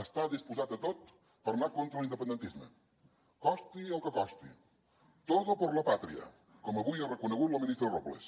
està disposat a tot per anar contra l’independentisme costi el que costi todo por la patria com avui ha reconegut la ministra robles